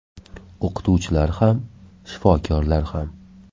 O‘qituvchilar ham, shifokorlar ham.